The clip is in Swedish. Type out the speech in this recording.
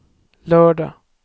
lördag